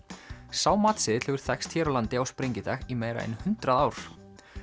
sá matseðill hefur þekkst hér á landi á sprengidag í meira en hundrað ár